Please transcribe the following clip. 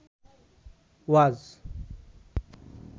ওয়াজ